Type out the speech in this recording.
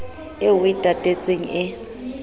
eo o e tatetseng e